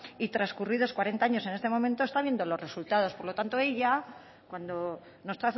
y trascurridos cuarenta años en este momento está viendo los resultados por lo tanto ella cuando nos